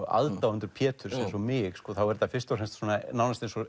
aðdáendur Pétur eins og mig þá er þetta fyrst og fremst nánast eins og